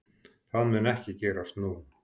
Það mun ekki gerast nú.